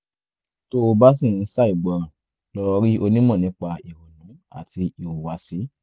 tó o bá ṣì ń ṣàìgbọràn lọ rí onímọ̀ nípa ìrònú àti ìhùwàsí